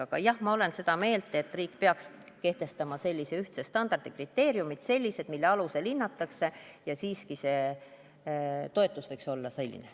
Aga jah, ma olen seda meelt, et riik peaks kehtestama ühtse standardi, mille alusel hinnatakse ja see toetus võikski siis olla selline.